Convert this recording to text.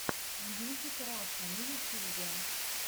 мьюзик раша на ютьюбе